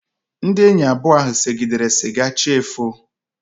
Ndị enyi abụọ ahụ segidere siga chi efoo